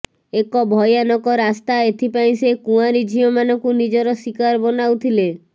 ଏକ ଭୟାନକ ରାସ୍ତା ଏଥିପାଇଁ ସେ କୁଆଁରୀ ଝିଅମାନଙ୍କୁ ନିଜର ଶିକାର ବନାଉଥିଲେ